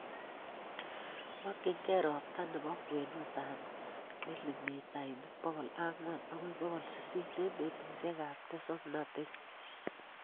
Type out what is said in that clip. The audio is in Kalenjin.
makyingei ropta ne po kwenutap milimitaik pogol ang'wan agoi pokol sisit eng' petusiekap tesoknateet.